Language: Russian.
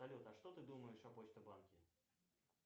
салют а что ты думаешь о почта банке